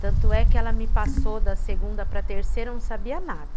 Tanto é que ela me passou da segunda para terceira, eu não sabia nada.